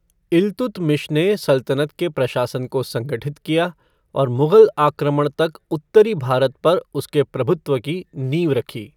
इल्तुतमिश ने सल्तनत के प्रशासन को संगठित किया, और मुग़ल आक्रमण तक उत्तरी भारत पर उसके प्रभुत्व की नींव रखी।